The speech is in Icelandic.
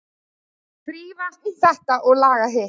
Þrífa þetta og laga hitt.